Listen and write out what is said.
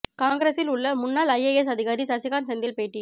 காங்கிரஸில் உள்ள முன்னாள் ஐஏஎஸ் அதிகாரி சசிகாந்த் செந்தில் பேட்டி